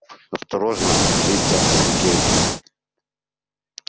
осторожно злится сергей